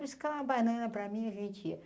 buscar uma banana para mim, a gente ia.